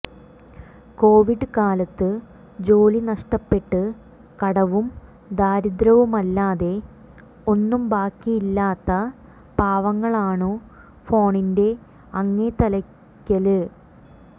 Covid കാലത്ത് ജോലി നഷ്ടപ്പെട്ട് കടവും ദാരിദ്ര്യവുമല്ലാതെ ഒന്നും ബാക്കിയില്ലാത്ത പാവങ്ങളാണു ഫോണിന്റെ അങ്ങേത്തലയ്ക്കല്